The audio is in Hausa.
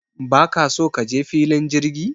Don't you want to go to the airport?